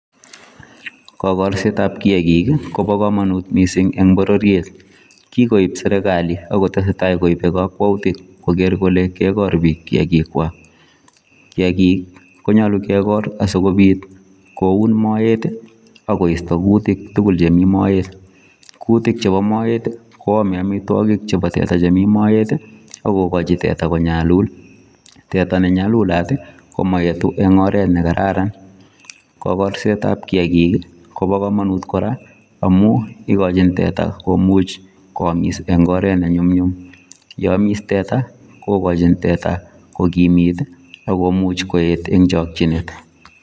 Kakorsetap kiakik kopo komonut mising eng pororiet. Kikoip serekali akotesetai koipe kakwoutik koker kole kekor biik kiakika. Kiakik konyolu kekor asikobit koun moet akoisto kutik tukul chemi moet. Kutik chepo moet kwome amitwokik chepo teta chemi moet akokochin teta konyalul. Teta nenyalulat ko moetu eng oret nekararan. Kokorsetap kiakik kopo komonut kora amu ikochin teta komuch koamis eng oret nenyumnyum. Yeamis teta, kokochin teta kokimit ak komuch koet eng chokchinet.